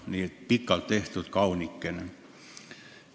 Nii et pikalt tehtud kaunikene.